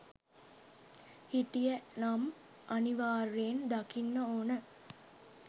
හිටිය නම් අනිවාර්යෙන් දකින්න ඕන